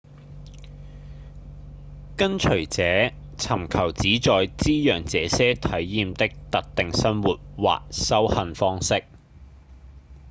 跟隨者尋求旨在滋養這些體驗的特定生活或修行方式